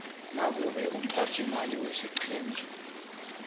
nakube umphathiimali wesiqhema